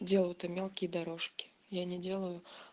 делают там мелкие дорожки я не делаю